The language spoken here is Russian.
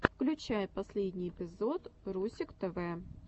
включай последний эпизод русик тв